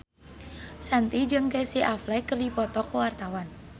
Shanti jeung Casey Affleck keur dipoto ku wartawan